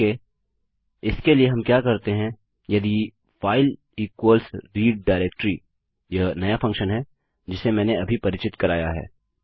okay इसके लिए हम क्या करते हैं यदि फाइल इक्वल्स रीड डायरेक्ट्री यह नया फंक्शन है जिसे मैंने अभी परिचित कराया है